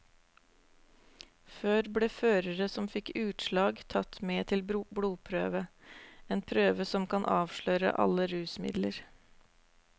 Før ble førere som fikk utslag tatt med til blodprøve, en prøve som kan avsløre alle rusmidler.